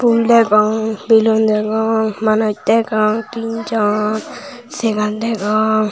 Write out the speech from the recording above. fhul degong belun degong manuj degong tinjon segar degong.